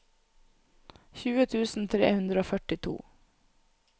tjue tusen tre hundre og førtito